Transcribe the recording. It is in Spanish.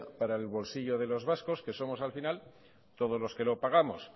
para el bolsillo de los vascos que somos al final todos los que lo pagamos